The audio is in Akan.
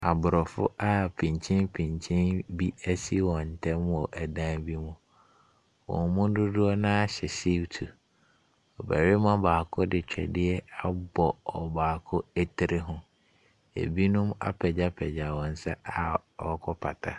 Aborɔfo pintepinten bi asi wɔn ntamu wɔ dan bi mu. Wɔn mu dodoɔ no ara hyɛ siutu. Ɔbarima baako de twɛdeɛ abɔ ɔbaako ti tiri ho. Binom apagypagya wɔn nsa a wɔrekɔpata.